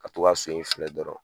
Ka to ka so in filɛ dɔrɔn